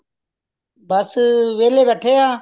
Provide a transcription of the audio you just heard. ਬੱਸ ਵੇਹਲੇ ਬੈਠੇ ਆ